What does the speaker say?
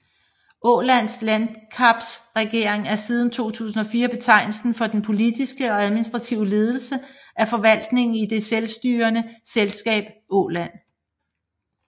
Ålands landskapsregering er siden 2004 betegnelsen for den politiske og administrative ledelse af forvaltningen i det selstyrede landskab Åland